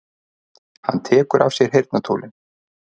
Hann tekur af sér heyrnartólin.